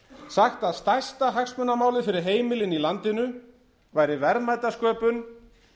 sagt að stærsta hagsmunamálið fyrir heimilin í landinu væri verðmætasköpun